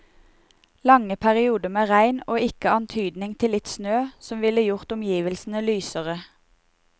Lange perioder med regn og ikke antydning til litt snø, som ville gjort omgivelsene lysere.